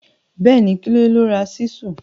Béèní, Kunle ló ra Ṣísù.